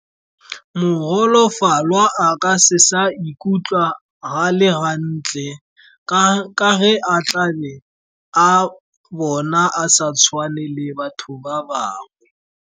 Mogolofalwa a ka se sa ikutlwa a le gantle, ka ge a tlabe a bona a sa tshwane le batho ba bangwe.